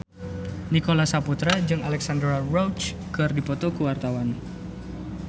Nicholas Saputra jeung Alexandra Roach keur dipoto ku wartawan